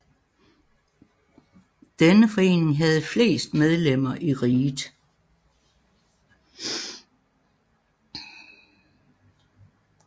Denne forening havde flest medlemmer i riget